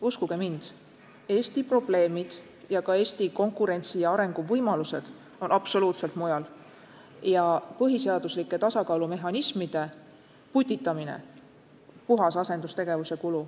Uskuge mind, Eesti probleemid ja ka Eesti konkurentsi- ja arenguvõimalused on absoluutselt mujal ja põhiseaduslike tasakaalumehhanismide putitamine on puhas asendustegevus.